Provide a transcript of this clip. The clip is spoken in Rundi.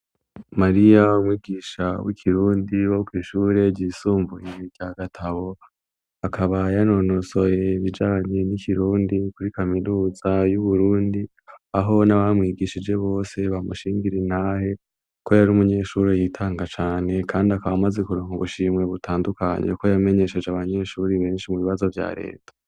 Mariya umwigisha w'ikirundi wo kw'ishure ryisumbuye rya Gatabo akaba yanonosoye ibijanye n'ikirundi kuri kaminuza y'Uburundi aho n'abamwigishije bose bamushingira intahe ko yari umunyeshure yitanga cane kandi akaba amaze kuronka ubushimwe butandukanye ko yamenyesheje abanyeshure benshi mu bibazo vya leta.